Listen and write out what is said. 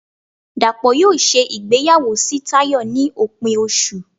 Dapo yóò ṣe ìgbéyàwó sí Tayo ni opín osú